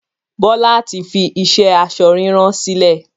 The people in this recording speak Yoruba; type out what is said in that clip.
Bọlá tí fi iṣẹ́ aṣọ ríran sílẹ̀